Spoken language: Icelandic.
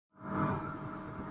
Tekinn próflaus með kannabis